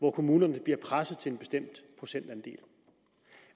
hvor kommunerne bliver presset til en bestemt procentandel